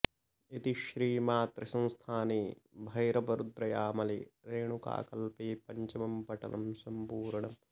इति श्री मातृसंस्थाने भैरवरुद्रयामले रेणुकाकल्पे पञ्चमं पटलं सम्पूर्णम्